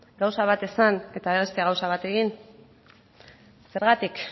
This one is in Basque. gauza bat esan eta beste bat egin zergatik